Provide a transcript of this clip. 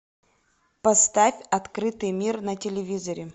поставь открытый мир на телевизоре